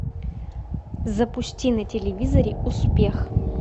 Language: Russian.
запусти на телевизоре успех